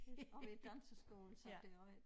Oppe i æ danseskole som det også er